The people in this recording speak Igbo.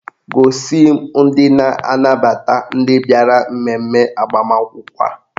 Gosi m ndị na-anabata ndị bịara mmemme agbamakwụkwọ a.